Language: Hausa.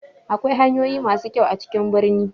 Akwai hanyoyi ma su kyau a cikin birni.